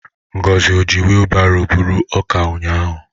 Ngozi o ji wilbaro buru ọka ụnyahụ?